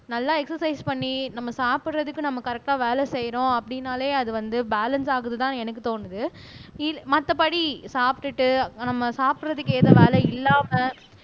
நல்லா எக்ஸசைஸ் பண்ணி நம்ம சாப்பிடுறதுக்கு நம்ம கரெக்டா வேலை செய்யிறோம் அப்படின்னாலே அது வந்து பேலன்ஸ் ஆகுதுதான்னு எனக்கு தோணுது மத்தபடி சாப்பிட்டுட்டு நம்ம சாப்பிடுறதுக்கு வேலை இல்லாமல்